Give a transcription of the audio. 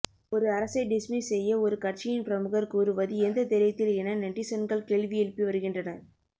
ஒரு அரசை டிஸ்மிஸ் செய்ய ஒரு கட்சியின் பிரமுகர் கூறுவது எந்த தைரியத்தில் என நெட்டிசன்கள் கேள்வி எழுப்பி வருகின்றனர்